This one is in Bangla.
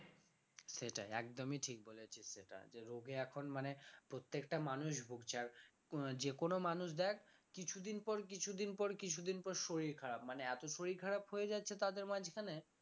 সেটাই একদমই ঠিক বলেছিস সেটা যে রোগে এখন মানে প্রত্যেকটা মানুষ ভুগছে আর আহ যে কোন মানুষ দেখ কিছুদিন পর কিছুদিন পর কিছুদিন পর শরীর খারাপ মানে এত শরীর খারাপ হয়ে যাচ্ছে তাদের মাঝখানে